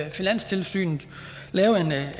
finanstilsynet lave